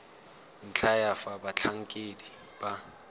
ntlha ya fa batlhankedi ba